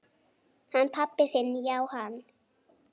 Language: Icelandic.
Hann pabbi þinn já, hann.